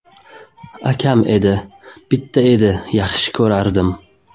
Akam edi, bitta edi… Yaxshi ko‘rardim.